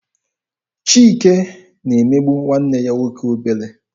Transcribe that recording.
Chike na-emegbu nwanne ya nwoke obere.